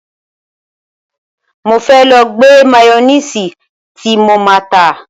Mo fẹ́ lọ gbẹ́ máyónìsì tí mo má á tà.